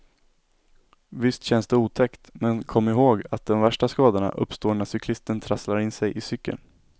Visst känns det otäckt men kom ihåg att de värsta skadorna uppstår när cyklisten trasslar in sig i cykeln.